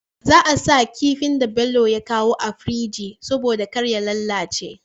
Za a sa kifin da Bello ya kawo a firji saboda karya lalace